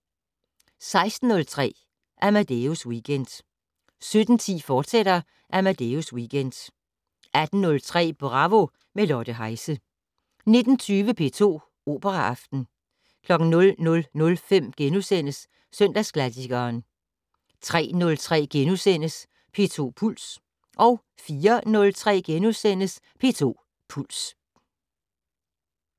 16:03: Amadeus Weekend 17:10: Amadeus Weekend, fortsat 18:03: Bravo - med Lotte Heise 19:20: P2 Operaaften 00:05: Søndagsklassikeren * 03:03: P2 Puls * 04:03: P2 Puls *